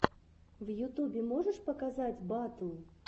в ютюбе можешь показать батл